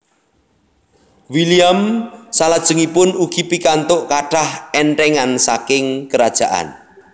William salajengipun ugi pikantuk kathah enthengan saking Kerajaan